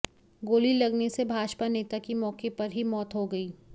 गोली लगने से भाजपा नेता की मौके पर ही मौत हो गई